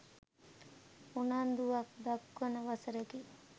උනන්දුවක් දක්වන වසරකි.